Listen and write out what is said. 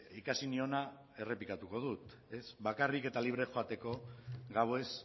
ikasi niona errepikatuko dut bakarrik eta libre joateko gauez